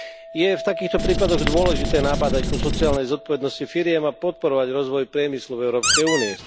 Je v takýchto prípadoch dôležité nabádať ku sociálnej zodpovednosti firiem a podporovať rozvoj priemyslu v Európskej únii.